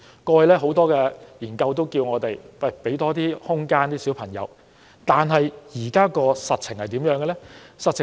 過去，很多研究也指出我們要給孩子更多空間，但現在的實情為何？